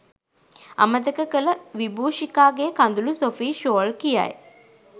අමතක කළ විබූෂිකාගේ කඳුළු සොෆී ෂෝල් කියයි.